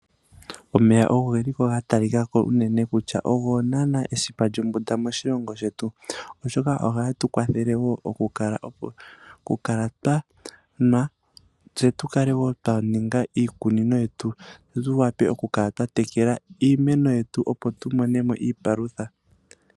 Omeya ogo geliko ga talikako unene kutya ogo naa esipa lyombunda moshilongo oshoka ohage tukwathele woo okukala twanwa se tukale woo twaninga iikunino yetu se tuwape okukala twa tekela iimeno yetu opo tumonemo iipalutha.